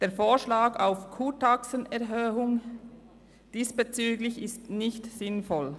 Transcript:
Der Vorschlag auf eine Erhöhung der Kurtaxen ist diesbezüglich nicht sinnvoll.